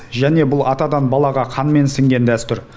және бұл атадан балаға қанмен сіңген дәстүр